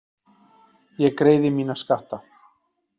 Ég greiði mína skatta.